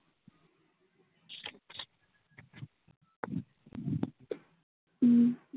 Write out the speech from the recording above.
হম